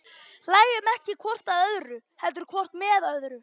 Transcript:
Hlæjum ekki hvort að öðru, heldur hvort með öðru.